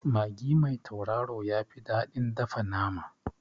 Magi mai tauraro yafi daɗin dafa nama